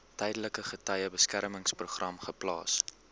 tydelike getuiebeskermingsprogram geplaas